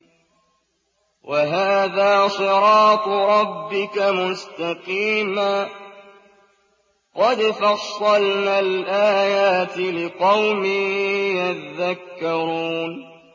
وَهَٰذَا صِرَاطُ رَبِّكَ مُسْتَقِيمًا ۗ قَدْ فَصَّلْنَا الْآيَاتِ لِقَوْمٍ يَذَّكَّرُونَ